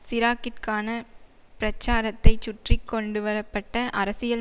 சிராக்கிற்கான பிரச்சாரத்தைச் சுற்றி கொண்டுவர பட்ட அரசியல்